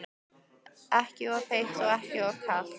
Ekki of heitt og ekki of kalt?